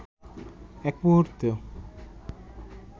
এক মুহূর্ত